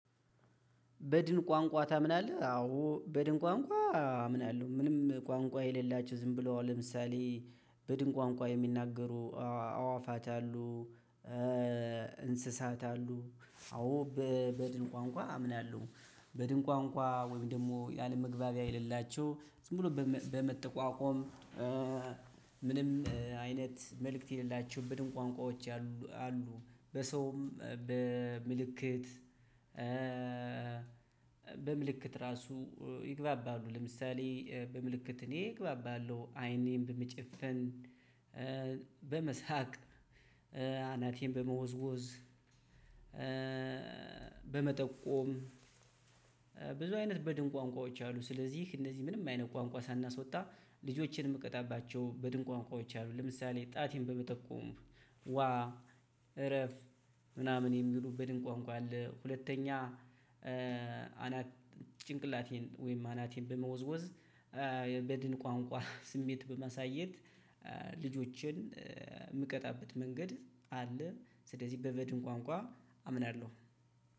በድን ቋንቋ ታምናለህ? አዎ በድን ቋንቋ አምናለሁ ምንም ቋንቋ የሌላችሁ ዝም ብሎ ለምሳሌ በድን ቋንቋ የሚናገሩ አዋፋት አሉ። እንስሳት አሉ አዎ በድን ቋንቋ አምናለሁ። በድን ቋንቋ ወይም ደግሞ ያለመግባቢያ የሌላቸው ዝም ብሎ በመጠቋቆም። ምንም አይነት መልእክት የሌላቸው በድን ቋንቋዎች አሉ። በሰውም በምልክት። በምልክት ራሱ ይግባባሉ። ለምሳሌ በምልክት እኔ እግባባለሁ አይኔን በመጨፈን። በመሳቅ። አናቴን በመወዝወዝ። በመጠቆም። ብዙ አይነት በድን ቋንቋዎች አሉ። ስለዚህ እነዚህ ምንም አይነት ቋንቋ ሳናስወጣ ልጆችን የምቀጣባቸው በድን ቋንቋዎች አሉ። ለምሳሌ ጣቴን በመጠቆም ዋ እረፍ ምናምን የሚሉ በድን ቋንቋ አለ። ሁለተኛ ጭንቅላቴን ወይም አናቴን በመወዝወዝ። በድን ቋንቋ ስሜት በማሳየት ልጆችን የምቀጣበት መንገድ አለ። ስለዚህ በበድን ቋንቋ አምናለሁ።